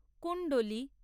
কুণ্ডলী